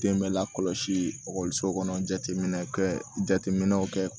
Den bɛ lakɔlɔsi ɔkɔliso kɔnɔ jateminɛ kɛ jateminɛw kɛ